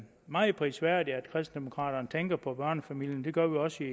meget prisværdigt at kristendemokraterne tænker på børnefamilierne det gør vi også